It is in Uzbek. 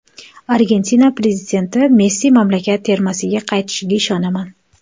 Argentina prezidenti: Messi mamlakat termasiga qaytishiga ishonaman.